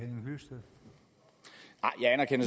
når